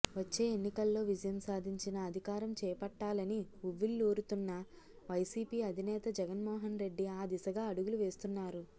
వచ్చే ఎన్నికల్లో విజయం సాధించిన అధికారం చేపట్టాలని ఊవ్విళ్లూరుతోన్న వైసీపీ అధినేత జగన్మోహన్ రెడ్డి ఆ దిశగా అడుగులు వేస్తున్నారు